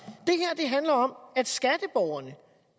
og om at skatteborgerne